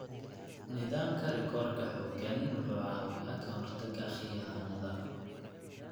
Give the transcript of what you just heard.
Nidaamka rikoodhka xooggan wuxuu caawiyaa ka hortagga khiyaanada.